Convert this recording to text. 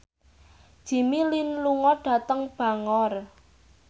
Jimmy Lin lunga dhateng Bangor